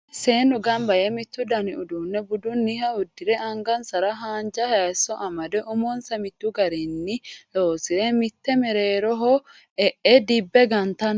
seennu ganba yee mittu dani uduunne budunniha uddire angnsara haanja hayiisso amade umonsa mittu garinni nloosireenna mitte merreeroho e'e dibbe gantanni no